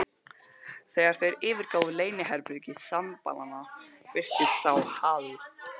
Þegar þeir yfirgáfu leyniherbergi sembalanna, birtist sá Hal